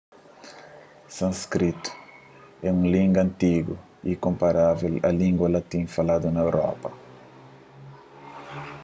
sânskritu é un língua antigu y é konparável a língua latin faladu na europa